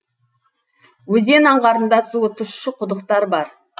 өзен аңғарында суы тұщы құдықтар бар